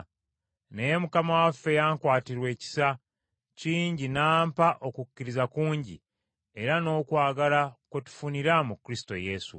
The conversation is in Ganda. Naye Mukama waffe yankwatirwa ekisa kingi n’ampa okukkiriza kungi, era n’okwagala kwe tufunira mu Kristo Yesu.